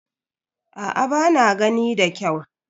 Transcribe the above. Aa ba na gani da kyau.